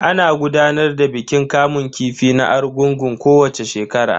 Ana gudanar da bikin kamun kifi na argungun kowacce shekara.